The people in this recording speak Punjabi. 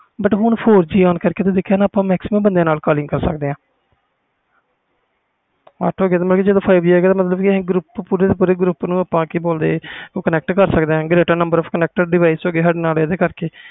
but four G ਆਂ ਕਰਕੇ ਹੁਣ ਆਪਾ maximum ਬੰਦਿਆਂ ਨਾਲ ਕਾਲਿੰਗ ਕਰ ਸਕਦੇ ਆ ਜਦੋ five G ਆ ਗਿਆ ਫਿਰ ਆਪਾ ਪੂਰੇ ਦੇ ਪੂਰੇ group ਨੂੰ connect ਕਰ ਸਕਦੇ ਆ